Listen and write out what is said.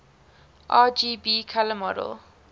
rgb color model